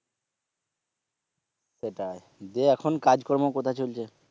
সেটাই। দিয়ে এখন কাজকর্ম কোথায় চলছে?